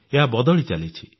ଏହା ବଦଳି ଚାଲିଛି